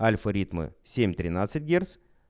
альфа ритмы семь ринадцать герц